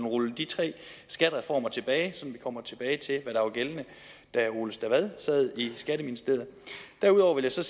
rulle de tre skattereformer tilbage vi kommer tilbage til hvad der var gældende da ole stavad sad i skatteministeriet derudover vil jeg